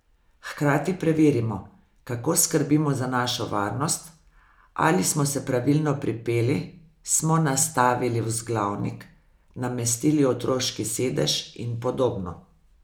Hkrati preverimo, kako skrbimo za našo varnost, ali smo se pravilno pripeli, smo nastavili vzglavnik, namestili otroški sedež in podobno.